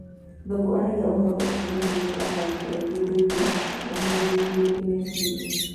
Thuku arauga ũhoro ũcio nĩũtũmĩte athaki aingĩ kwĩigua "mahinyĩrĩrĩkĩte kĩmeciria ".